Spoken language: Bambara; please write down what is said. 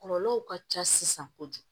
Kɔlɔlɔw ka ca sisan kojugu